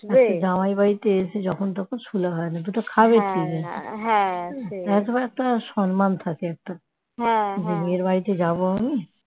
জামাই বাড়িতে এসে যখন তখন শুলে হয় না দুটো খাবে কি একবার একটা সম্মান থাকে মেয়ের বাড়িতে যাব আমি